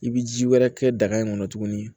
I bɛ ji wɛrɛ kɛ daga in kɔnɔ tuguni